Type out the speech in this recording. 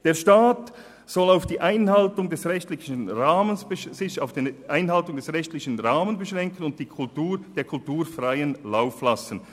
Der Staat soll sich darauf beschränken, die Einhaltung des rechtlichen Rahmens zu gewährleisten, und der Kultur freien Lauf lassen.